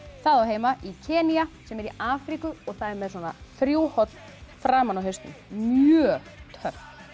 það á heima í Kenýa sem er í Afríku og það er með þrjú horn framan á hausnum mjög töff